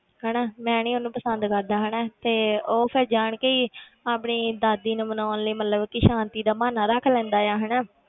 ਹਨਾ ਮੈਂ ਨੀ ਉਹਨੂੰ ਪਸੰਦ ਕਰਦਾ ਹਨਾ ਤੇ ਉਹ ਫਿਰ ਜਾਣ ਕੇ ਹੀ ਆਪਣੀ ਦਾਦੀ ਨੂੰ ਮਨਾਉਣ ਲਈ ਮਤਲਬ ਕਿ ਸਾਂਤੀ ਦਾ ਬਹਾਨਾ ਰੱਖ ਲੈਂਦਾ ਹੈ ਹਨਾ,